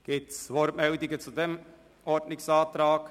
Gibt es Wortmeldungen zu diesem Ordnungsantrag?